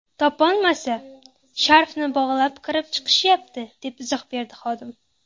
Topolmasa, sharfni bog‘lab kirib chiqishyapti”, deb izoh berdi xodim.